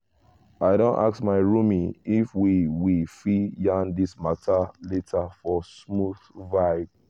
i don ask my roomie if we we fit yarn this matter later for smooth vibe.